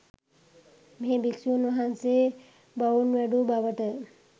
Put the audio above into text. මෙහි භික්‍ෂූන් වහන්සේ බවුන් වැඩූ බවට